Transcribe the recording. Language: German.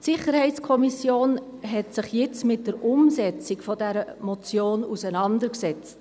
Die SiK hat sich jetzt mit der Umsetzung dieser Motion auseinandergesetzt.